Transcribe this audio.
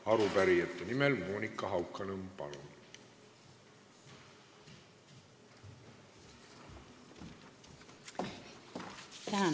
Arupärijate nimel Monika Haukanõmm, palun!